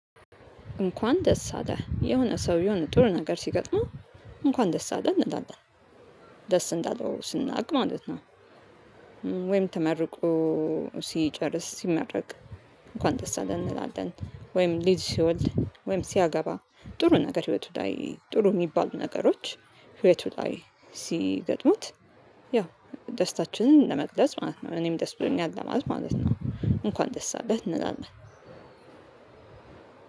እንኳን ደስ አለህ የሆነ ሰው የሆነ ጥሩ ነገር ሲገጥመው እንኳን ደስ አለህ እንላለን ደስ እንዳለው እንዳለው ስናውቅ ማለት ነው። ወይም ተመርቆ ሲጨርስ ሲመረቅ እንኳን ደስ አለህ እንላለን። ወይም ልጅ ሲወልድ ወይም ሲያገባ ጥሩ ነገር ህይወቱ ላይ ጥሩ የሚባሉ ነገሮች ሕይወቱ ላይ ሲገጥሙት። ያው ደስታችንን ለመግለጽ ማለት ነው እኔም ደስ ብሎኛል ለማለት ማለት ነው። እንኳን ደስ አለህ እንላለን።